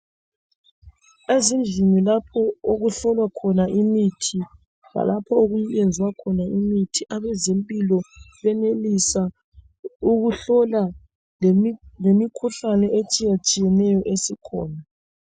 Ezindlini lapho okufulwa khona imithi lalapho okuyenzwa khona imithi abezimphilo benelisa ukuhlola lemikhuhlane etshiye-tshiyeneyo esikhona